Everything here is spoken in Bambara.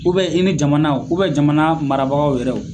U bɛn i ni jamanaw ubɛn jamana marabagaw yɛrɛw